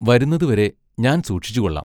വരുന്നതുവരെ ഞാൻ സൂക്ഷിച്ചുകൊള്ളാം.